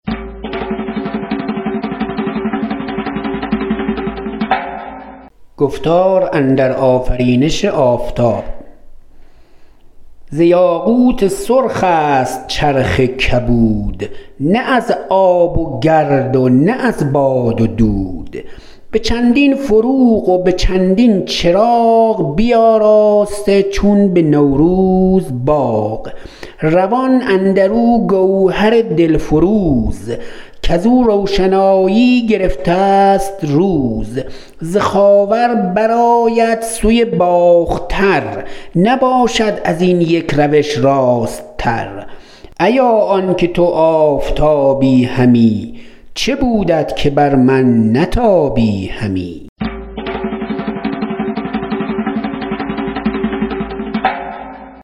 ز یاقوت سرخ است چرخ کبود نه از آب و گرد و نه از باد و دود به چندین فروغ و به چندین چراغ بیاراسته چون به نوروز باغ روان اندر او گوهر دل فروز کز او روشنایی گرفته است روز ز خاور بر آید سوی باختر نباشد از این یک روش راست تر ایا آن که تو آفتابی همی چه بودت که بر من نتابی همی